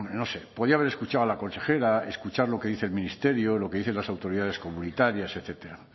no sé podía haber escuchado a la consejera escuchar lo que dice el ministerio lo que dicen las autoridades comunitarias etcétera